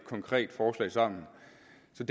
så